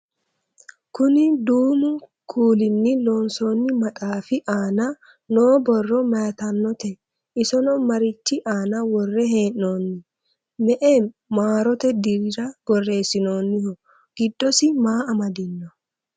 kuni duumu kuulinni loonsoonni maxaafi aana noo borro mayeetannote? isono marichi aana worre hee'noonni? me"e maarote dirira borreessinooniho? giddosi maa amadino?